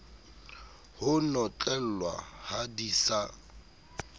ho notlellwa ha di sa